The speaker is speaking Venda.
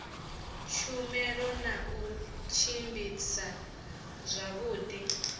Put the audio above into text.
tshumelo na u tshimbidza zwavhudi